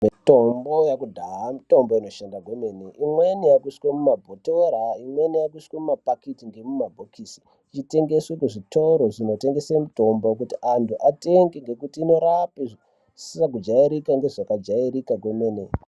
Mitombo yakudhaya itombo inoshanda maningi imweni yaakuiswa mumabhotoro, imweni yakuiswa nemumapikiti ,ngemuma mumabhokisi ichitengeswa kuzvitoro zvinotengese mitombo kuti antu atenge ngekuti inorapa zvisina kujairira nezvakajairika kwemene.